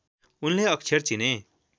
उनले अक्षर चिने